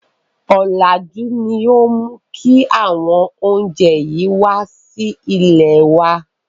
Ọ̀làjú ni ó mú kí àwọn oúnjẹ yìí wá sí ilèe wá.